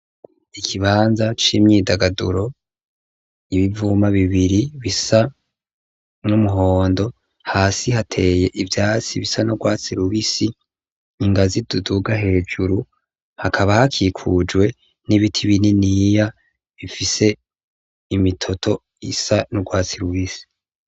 Ikibanza c'imyidagaduro ,ibivuma bibiri bisa n'umuhondo hasi hateye ivyatsi bisa n'urwatsi rubisi ,ingazi ziduduga hejuru, hakaba hakikujwe n'ibiti bininiya bifise imitoto isa n'urwatsi rubisi.